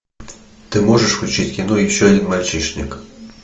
ты можешь включить кино еще один мальчишник